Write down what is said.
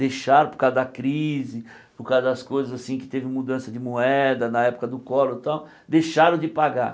Deixaram por causa da crise, por causa das coisas assim, que teve mudança de moeda na época do collor e tal, deixaram de pagar.